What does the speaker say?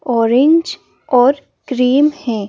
Orange और cream है।